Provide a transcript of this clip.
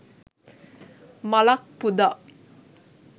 මලක් පුදා